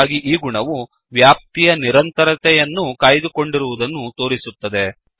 ಹಾಗಾಗಿ ಈ ಗುಣವು ವ್ಯಾಪ್ತಿಯ ನಿರಂತರತೆಯನ್ನು ಕಾಯ್ದುಕೊಂಡಿರುವುದನ್ನು ತೋರಿಸುತ್ತದೆ